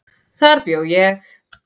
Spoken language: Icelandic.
Þar bjó ég.